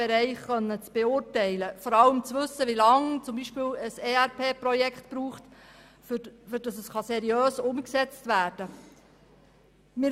Es ist schwierig abzuschätzen, wie viel Zeit zum Beispiel das EnterpriseResource-Planning-Projekt (ERP-Projekt) benötigt, bis es seriös umgesetzt werden kann.